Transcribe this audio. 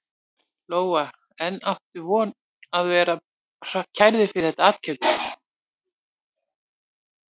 Lóa: En áttu von á því að verða kærður fyrir þetta athæfi?